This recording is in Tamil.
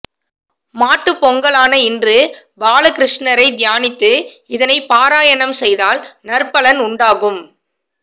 மாட்டுப்பொங்கலான இன்று பாலகிருஷ்ணரை தியானித்து இதனைப் பாராயணம் செய்தால் நற்பலன் உண்டாகும்